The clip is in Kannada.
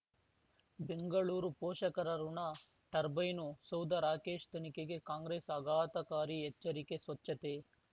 ಬೆಂಗಳೂರು ಪೋಷಕರಋಣ ಟರ್ಬೈನು ಸೌಧ ರಾಕೇಶ್ ತನಿಖೆಗೆ ಕಾಂಗ್ರೆಸ್ ಆಘಾತಕಾರಿ ಎಚ್ಚರಿಕೆ ಸ್ವಚ್ಛತೆ